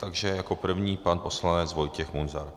Takže jako první pan poslanec Vojtěch Munzar.